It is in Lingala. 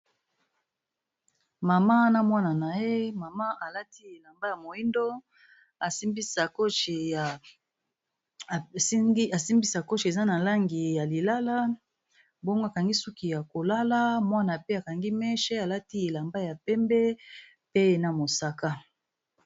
Maman na mwana na ye ,mama alati elamba ya moyindo asimbi sakochi eza na langi ya lilala bongo akangi suki ya kolala mwana pe akangi meche alati elamba ya pembe pe na mosaka.